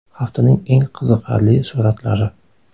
Haftaning eng qiziqarli suratlari.